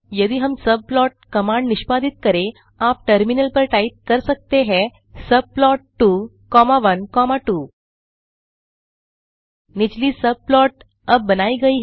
यदि हम subplot command निष्पादित करें आप टर्मिनल पर टाइप कर सकते हैं सबप्लॉट 2 कॉमा 1 कॉमा2 निचली सबप्लॉट अब बनाई गई हैं